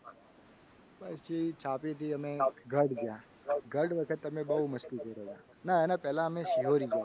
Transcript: પછી છાપીથી અમે ગઢ જ્યાં ગઢ વખત અમે બહુ મસ્તી કરી. ના એના પહેલા અમે શિહોરી ગયા હતા.